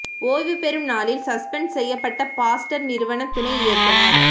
ஓய்வு பெறும் நாளில் சஸ்பெண்ட் செய்யப்பட்ட பாஸ்டர் நிறுவன துணை இயக்குநர்